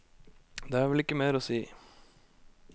Det er vel ikke mer å si.